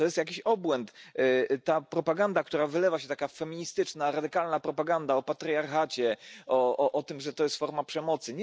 To jest jakiś obłęd, ta propaganda, która wylewa się, taka feministyczna, radykalna propaganda o patriarchacie, o tym że to jest forma przemocy.